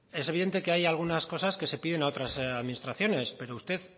es evidente que hay algunas cosas que se piden a otras administraciones pero usted